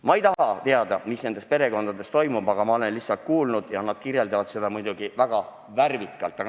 Ma ei taha teada, mis nendes perekondades toimub, aga ma olen üht-teist lihtsalt kuulnud ja seda kirjeldatakse muidugi väga värvikalt.